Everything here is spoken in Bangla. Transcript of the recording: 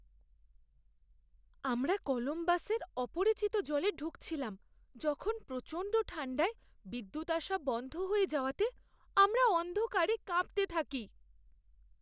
আমরা কলম্বাসের অপরিচিত জলে ঢুকছিলাম যখন প্রচণ্ড ঠাণ্ডায় বিদ্যুৎ আসা বন্ধ হয়ে যাওয়াতে আমরা অন্ধকারে কাঁপতে থাকি।